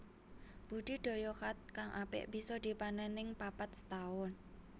Budi Daya Khat kang apik bisa dipanen ping papat setahun